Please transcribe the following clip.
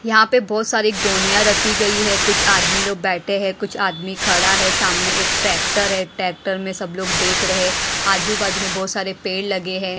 यहां पे बहुत सारी गोनियां रखी गई है कुछ आदमी लोग बैठे है कुछ आदमी खड़ा है सामने एक ट्रैक्टर है ट्रैक्टर में सब लोग देख रहे आजू बाजू में बहुत सारी पेड़ लगे है।